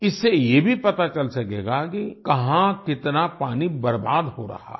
इससे ये भी पता चल सकेगा कि कहाँ कितना पानी बर्बाद हो रहा है